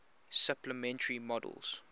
supplementary models